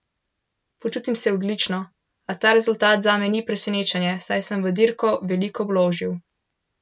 Počutim se odlično, a ta rezultat zame ni presenečenje, saj sem v dirko veliko vložil.